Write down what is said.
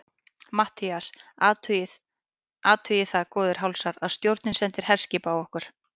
MATTHÍAS: Athugið það, góðir hálsar, að stjórnin sendir herskip á okkur!